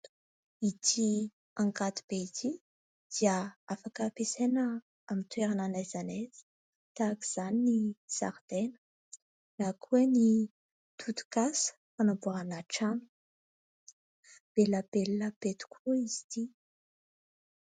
Ity angady be ity dia afaka ampiasaina amin'ny toerana n'aiza n'aiza, tahaka izany ny zaridaina na koa ny tetikasa anamboarana trano. Be lapelina be tokoa izy ity.